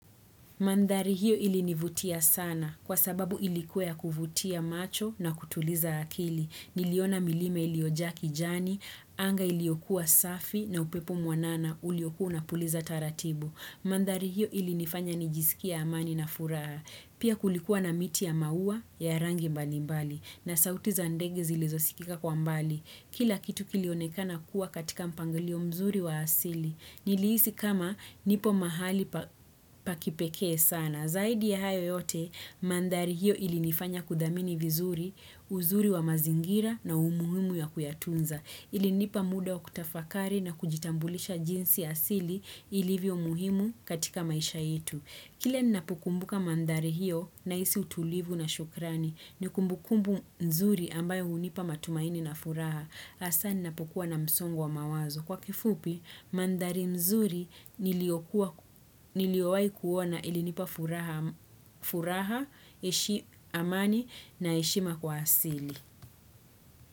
Mandhari hiyo ilinivutia sana kwa sababu ilikuwa ya kuvutia macho na kutuliza akili. Niliona milima iliyojaa kijani, anga iliyokuwa safi na upepo mwanana uliokuwa unapuliza taratibu. Mandhari hiyo ilinifanya nijisikie amani na furaha. Pia kulikuwa na miti ya maua ya rangi mbali mbali na sauti za ndege zilizosikika kwa mbali. Kila kitu kilionekana kuwa katika mpangilio mzuri wa asili. Nilihisi kama nipo mahali pa kipekee sana. Zaidi ya hayo yote, mandhari hiyo ilinifanya kuthamini vizuri, uzuri wa mazingira na umuhimu ya kuyatunza. Ilinipa muda wa kutafakari na kujitambulisha jinsi asili ilivyo muhimu katika maisha yetu. Kila ninapukumbuka mandhari hiyo nahisi utulivu na shukrani ni kumbukumbu nzuri ambayo hunipa matumaini na furaha. Hasa ninapokuwa na msongo wa mawazo. Kwa kifupi, mandhari mzuri niliyowahi kuona ilinipa furaha, amani na heshima kwa asili.